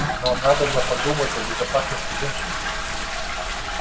но надобно подумать о безопасности женщин